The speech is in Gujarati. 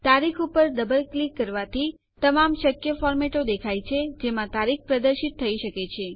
તારીખ ઉપર ડબલ ક્લિક કરવાથી તમામ શક્ય ફોર્મેટો દેખાય છે જેમાં તારીખ પ્રદર્શિત થઇ શકે છે